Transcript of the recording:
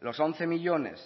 los once millónes